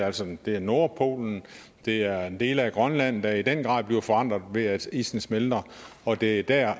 altså det er nordpolen det er dele af grønland der i den grad bliver forandret ved at isen smelter og det er der